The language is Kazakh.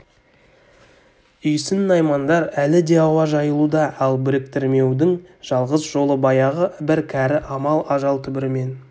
үйсін наймандар әлі де ауа жайылуда ал біріктірмеудің жалғыз жолы баяғы бір кәрі амал ажал түбірімен